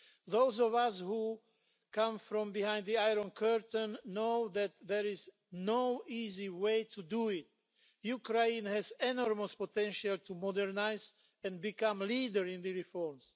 Those of us who come from behind the Iron Curtain know that there is no easy way to do it. Ukraine has enormous potential to modernise and become a leader in the reforms.